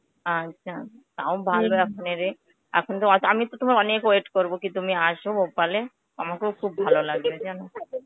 আচ্ছা, তাও ভালো এখনই রে. এখন তো আমিতো তোমার অনেক wait করবো তুমি কি আস Bhopal এ. আমাগো খুব ভালো লাগবে জানো.